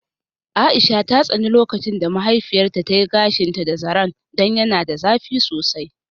Aisha ta tsani lokacin da mahaifiyarta ta yi gashinta da zaren don yana da zafi sosai.